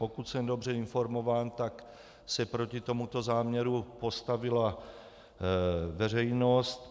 Pokud jsem dobře informován, tak se proti tomuto záměru postavila veřejnost.